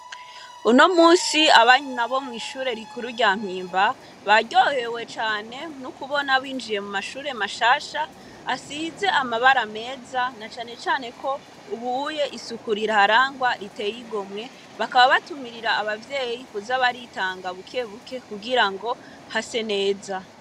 Uno musi abanyuna bo mw'ishure rikuru rya mpimba baryohewe cane n'ukubona binjiye mu mashure mashasha asize amabara meza na canecane ko ubuye isuku rirarangwa riteyigomwe bakaba batumirira abavyeyi kuza baritanga bukebuke kugira ngo hase neza.